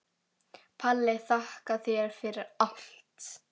Palli, þakka þér fyrir allt.